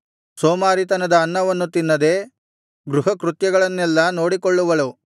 ಸೋಮಾರಿತನದ ಅನ್ನವನ್ನು ತಿನ್ನದೆ ಗೃಹಕೃತ್ಯಗಳನ್ನೆಲ್ಲಾ ನೋಡಿಕೊಳ್ಳುವಳು